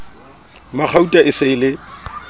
magauta e se e le